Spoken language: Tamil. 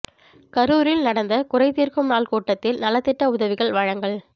கரூரில் நடந்த குறை தீர்க்கும் நாள் கூட்டத்தில் நலத்திட்ட உதவிகள் வழங்கல்